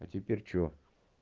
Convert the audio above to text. а теперь что